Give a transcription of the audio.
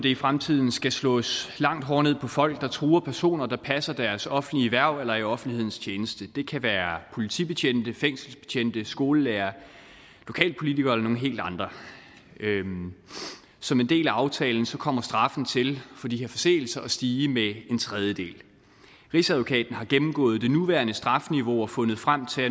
i fremtiden skal slås langt hårdere ned på folk der truer personer der passer deres offentlige hverv eller er i offentlighedens tjeneste det kan være politibetjente fængselsbetjente skolelærere lokalpolitikere eller nogle helt andre som en del af aftalen kommer straffen for de her forseelser til at stige med en tredjedel rigsadvokaten har gennemgået det nuværende strafniveau og fundet frem til